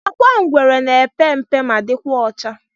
Agwa ngwere na epe mpe ma dikwa ọcha.